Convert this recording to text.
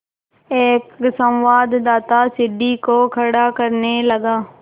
एक संवाददाता सीढ़ी को खड़ा करने लगा